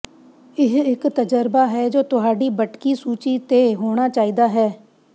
ਇਹ ਇੱਕ ਤਜਰਬਾ ਹੈ ਜੋ ਤੁਹਾਡੀ ਬਟਕੀ ਸੂਚੀ ਤੇ ਹੋਣਾ ਚਾਹੀਦਾ ਹੈ